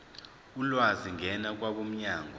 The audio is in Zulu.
ulwazi ngena kwabomnyango